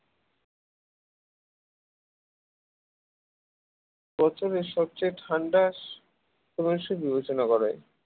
বছরের সবচেয়ে ঠান্ডা সময় হিসেবে বিবেচনা করা হয়